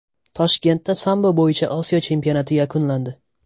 Toshkentda sambo bo‘yicha Osiyo chempionati yakunlandi.